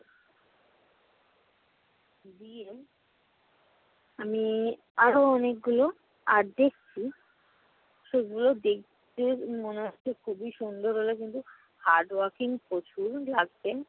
আমি আরো অনেকগুলো art দেখছি, সেগুলো দেখতে মনে হচ্ছে খুবই সুন্দর হলেও কিন্তু hard working প্রচুর লাগবে।